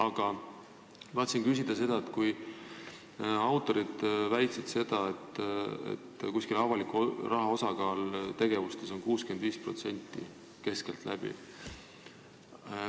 Aga tahan küsida selle autorite väite kohta, et avaliku raha osakaal tegevustes on keskeltläbi 65%.